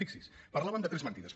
fixi’s parlàvem de tres mentides